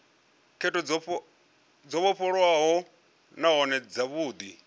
khetho dzo vhofholowaho nahone dzavhudi